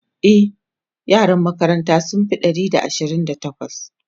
e yaran makarantan sun Fi Ɗari da Ashirin da takwas